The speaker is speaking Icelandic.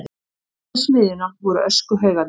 Vestan við smiðjuna voru öskuhaugarnir.